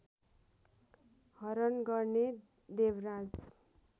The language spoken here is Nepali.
हरण गर्ने देवराज